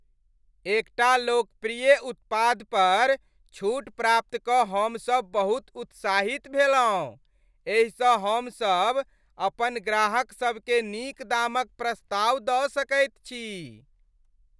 एकटा लोकप्रिय उत्पाद पर छूट प्राप्त कऽ हमसभ बहुत उत्साहित भेलहुँ, एहिसँ हमसभ अपन ग्राहकसभकेँ नीक दामक प्रस्ताव दऽ सकैत छी।